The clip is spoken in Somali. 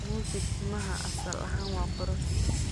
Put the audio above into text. Musi timaha asal ahaan waa qurux.